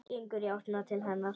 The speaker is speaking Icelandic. Gengur í áttina til hennar.